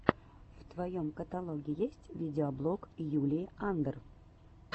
в твоем каталоге есть видеоблог юлии андр